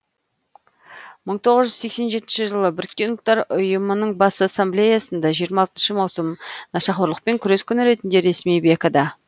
мың тоғыз жүз сексен жетінші жылы біріккен ұлттар ұйымының бас ассамблеясында жиырма алтыншы маусым нашақорлықпен күрес күні ретінде ресми бекіді